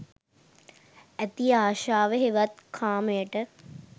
ඇති අශාව හෙවත් කාමයට